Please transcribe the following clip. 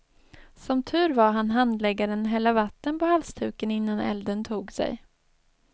Som tur var hann handläggaren hälla vatten på halsduken innan elden tog sig.